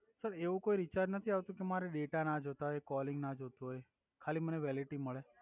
sir એવુ કોઇ recharge નથી આવ્તુ કે મારે ડેટા ના જોતા હોય કોલિંગ ના જોતુ હોય ખાલી મને વેલિડીટી મળે